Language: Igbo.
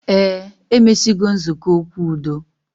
Eh, emesigo nzukọ okwu udo